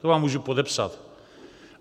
To vám můžu podepsat.